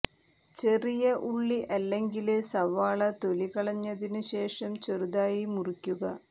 ചെറിയ ഉള്ളി അല്ലെങ്കില് സവാള തൊലി കളഞ്ഞതിനു ശേഷം ചെറുതായി മുറിക്കുക